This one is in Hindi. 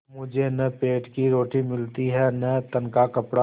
मुझे न पेट की रोटी मिलती है न तन का कपड़ा